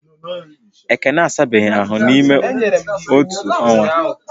Ekene asabeghi ahu n’ịme otu ọnwa